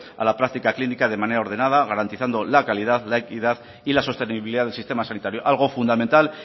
a la práctica clínica de manera ordenada garantizando la calidad la equidad y la sostenibilidad del sistema sanitario algo fundamental